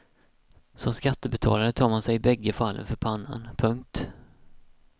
Som skattebetalare tar man sig i bägge fallen för pannan. punkt